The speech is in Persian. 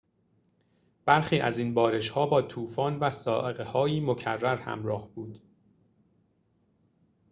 برخی از این بارش‌ها با طوفان و صاعقه‌های مکرر همراه بود